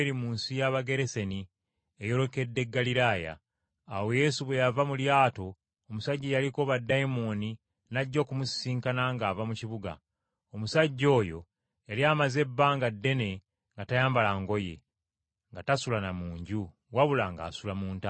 Awo Yesu bwe yava mu lyato omusajja eyaliko baddayimooni n’ajja okumusisinkana ng’ava mu kibuga. Omusajja oyo yali amaze ebbanga ddene nga tayambala ngoye, nga tasula na mu nju, wabula ng’asula mu ntaana.